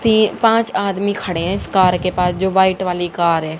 ये पांच आदमी खड़े हैं इस कार के पास जो वाइट वाली कार है।